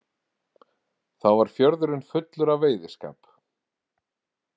Þá var fjörðurinn fullur af veiðiskap.